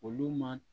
Olu ma